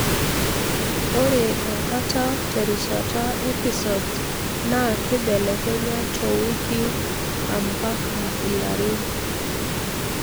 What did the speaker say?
ore enkata terishata episodes na kibelekenya towiki ampaka ilarin.